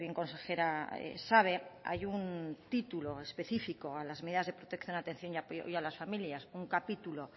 consejera sabe hay un título específico a las medidas de protección atención y apoyo a las familias un capítulo